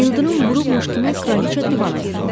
İldırım vurmuş kimi kraliçə divana yıxıldı.